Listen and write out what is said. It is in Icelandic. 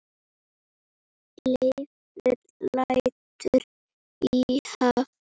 Leifur lætur í haf